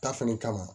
Ta fɛnɛ kama